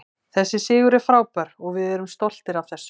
Þessi sigur er frábær og við erum stoltir af þessu.